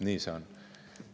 Nii see on.